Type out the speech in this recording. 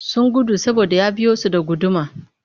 Sun gudu saboda ya biyo su da guduma